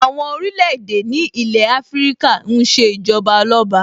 Àwọn orílẹ̀-èdè ní ilé Afíríkà ń ṣe Ìjọba Ọlọ́ba